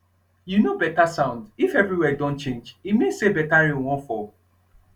you know better sound if everywhere don change e mean say better rain wan fall